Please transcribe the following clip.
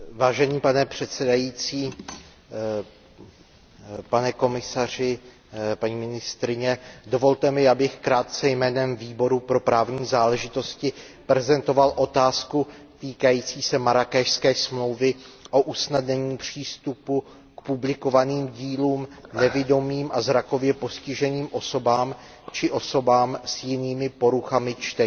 Pane předsedající, dovolte mi, abych krátce jménem Výboru pro právní záležitosti prezentoval otázku týkající se Marrákešské smlouvy o usnadnění přístupu k publikovaným dílům nevidomým a zrakově postiženým osobám či osobám s jinými poruchami čtení.